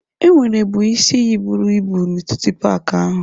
Enwerebu isi iyi buru ibu n'etiti paaki ahụ.